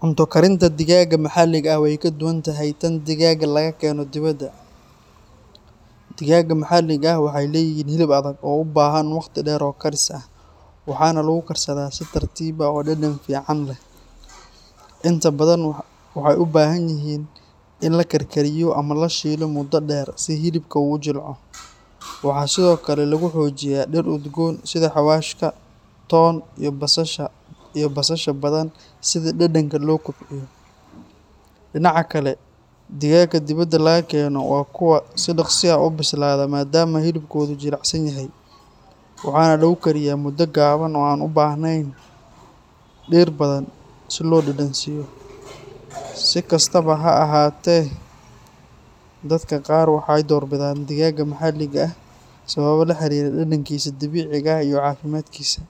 Cunto karinta digaagga maxalliga ah way ka duwan tahay tan digaagga la keeno dibadda. Digaagga maxalliga ah waxay leeyihiin hilib adag oo u baahan waqti dheer oo karis ah, waxaana lagu karsadaa si tartiib ah oo dhadhan fiican leh. Inta badan waxay u baahan yihiin in la karkariyo ama la shiilo muddo dheer si hilibku u jilco. Waxaa sidoo kale lagu xoojiyaa dhir udgoon sida xawaashka, toon, iyo basasha badan si dhadhanka loo kobciyo. Dhinaca kale, digaagga dibadda laga keeno waa kuwo si dhaqso ah u bislaada maadaama hilibkoodu jilicsan yahay. Waxaa lagu kariyaa muddo gaaban oo aan u baahnayn dhir badan si loo dhadhansiiyo. Si kastaba ha ahaatee, dadka qaar waxay doorbidaan digaagga maxalliga ah sababo la xiriira dhadhankiisa dabiiciga ah iyo caafimaadkiisa.